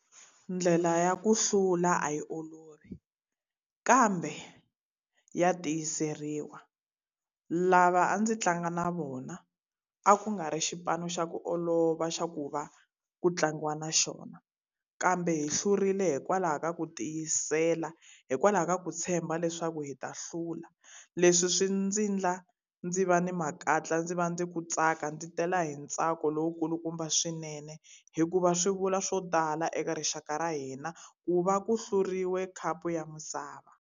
Ndlela ya ku hlula a yi olovi, kambe ya tiyiseriwa. Lava a ndzi tlanga na vona a ku nga ri xipano xa ku olova xa ku va ku tlangiwa na xona, kambe hi hlurile hikwalaho ka ku tiyisela, hikwalaho ka ku tshemba leswaku hi ta hlula. Leswi swi ndzi endla ndzi va ni makatla, ndzi va ni ku tsaka, ndzi tela hi ntsako lowu kulukumba swinene, hikuva swi vula swo tala eka rixaka ra hina ku va ku hlurile khapu ya misava.